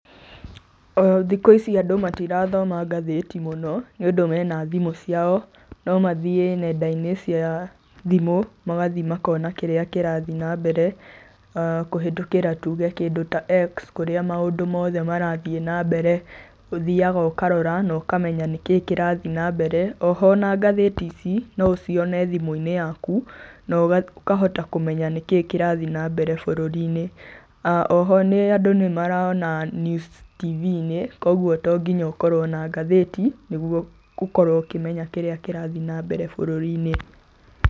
O thikũ ici andũ matirathoma ngathĩti mũno nĩũndũ mena thimũ ciao, no mathiĩ nenda-inĩ cia thimũ, magathi makona kĩrĩa kĩrathi na mbere kũhĩtũkĩra tuge kĩndũ ta X kũrĩa maũndũ mothe marathiĩ na mbere, ũthiaga ũkarora na ũkamenya nĩkĩĩ kĩrathi nambere. Oho ona ngathĩti ici no ũcione thimũ-inĩ yaku na ũkahota kũmenya nĩkĩĩ kĩrathi nambere bũrũri-inĩ. Oho andũ nĩ marona news[cs TV-inĩ koguo to nginya ũkorwo na ngathĩti nĩguo ũkorwo ũkĩmenya kĩrĩa kĩrathi nambere bũrũri-inĩ.